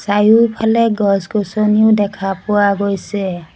চাৰিওফালে গছ-গছনিও দেখা পোৱা গৈছে।